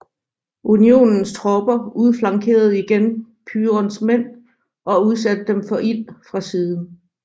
Unionens tropper udflankerede igen Pyrons mænd og udsatte dem for ild fra siden